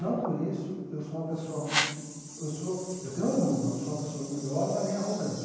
Não por isso eu sou uma pessoa, eu sou eu tenho orgulho, mas não sou uma pessoa orgulhosa nem arrogante.